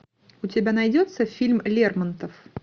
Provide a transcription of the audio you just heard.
у тебя найдется фильм лермонтов